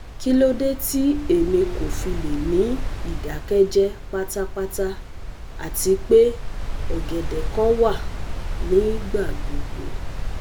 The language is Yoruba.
Kilode ti emi kò fi le ni idakẹ́jẹ́ patapata ati pe ọ̀gẹ̀dẹ́ kan wa nigbagbogbo